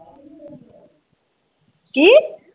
ਕੀ?